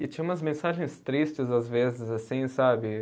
E tinha umas mensagens tristes, às vezes, assim, sabe?